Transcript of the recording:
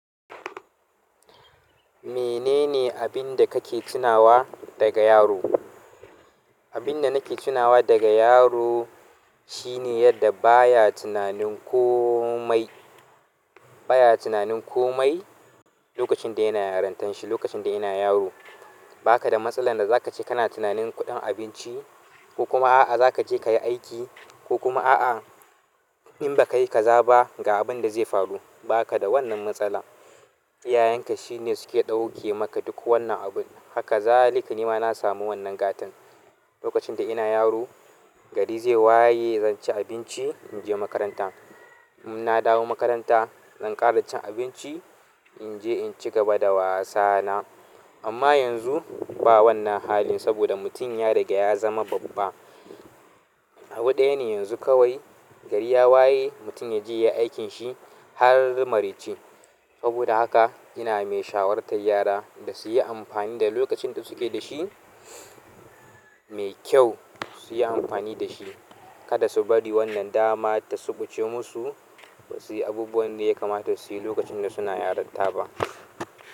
Menene abin da kake tunawa daga yaro? Abin da nake tunawa daga yaro shine yadda baya tunanin komai, baya tunanin komai lokacin da yana yarintan shi. Lokacin da ina yaro, ba ka da matsalar da za ka je kana tunanin kuɗin abinci ko kuma a'a, za ka je ka yi aiki ko kuma a'a, in ba ka yi, ka zaɓa ga abin da zai faru. Ba ka da wannan matsala. Iyayen ka su suke ɗauke maka duk irin wannnan abun haka kazalika nima nasamu wannan gatan lokacin da ina yaro, gari zai waye, zan ci abinci, in je makaranta. In nadawo makaranta zanje inci abinci incigaba da wasana amma yanzu ba wannan halin saboda mutum ya riga ya zama babba. Abu ɗaya ne yanzu kawai gari ya waye, mutum ya je ya yi aikin shi har mareci. Saboda haka ina mai shawartar yara da su yi amfani da lokacin da suke da shi mai kyau su yi amfani da shi. Kada su bari wannan damar ta suɓuce musu ba su yi abubuwan da ya kamata su yi lokacin da suna yaranta ba.